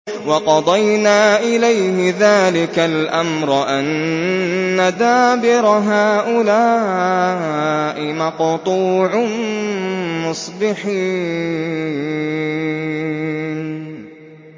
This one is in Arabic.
وَقَضَيْنَا إِلَيْهِ ذَٰلِكَ الْأَمْرَ أَنَّ دَابِرَ هَٰؤُلَاءِ مَقْطُوعٌ مُّصْبِحِينَ